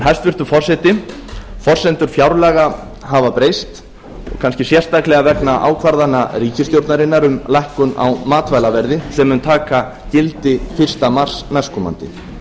hæstvirtur forseti forsendur fjárlaga hafa breyst og kannski sérstaklega vegna ákvarðana ríkisstjórnarinnar um lækkun á matvælaverði sem mun taka gildi fyrsta mars næstkomandi